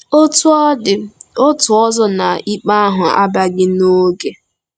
Otú ọ dị, otu ọzọ na ikpe ahụ abịaghị n'oge.